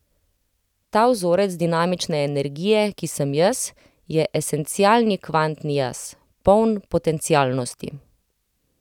Ta vzorec dinamične energije, ki sem jaz, je esencialni kvantni jaz, poln potencialnosti.